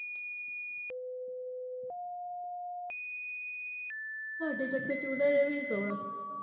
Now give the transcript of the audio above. ਸਾਡੇ ਚੱਕਰ ਚ ਉਨਾਂ ਨੇ ਵੀ ਨੀ ਸੋਣਾ।